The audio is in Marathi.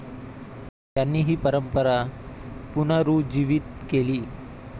त्यांनी हि परंपरा पुनरुज्जीवित केली.